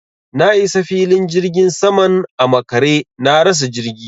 Na isa filin jirgin saman a makare, na rasa jirgi.